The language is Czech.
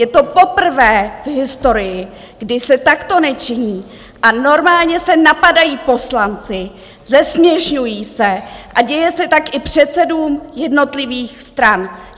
Je to poprvé v historii, kdy se takto nečiní a normálně se napadají poslanci, zesměšňují se a děje se tak i předsedům jednotlivých stran!